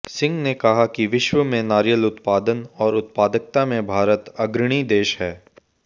सिंह ने कहा कि विश्व में नारियल उत्पादन और उत्पादकता में भारत अग्रणी देश है